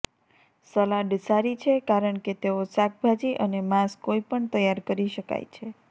salad સારી છે કારણ કે તેઓ શાકભાજી અને માંસ કોઈપણ તૈયાર કરી શકાય છે